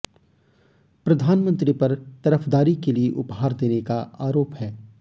प्रधानमंत्री पर तरफदारी के लिए उपहार देने का आरोप है